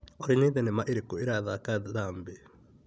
Olĩ nĩ thimema irĩkũ irathaka Zambĩ?